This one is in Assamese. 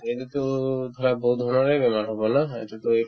এইটোতো ধৰা বহুত বেমাৰৰে বেমাৰ হ'ব ন সেইটোতো এইটো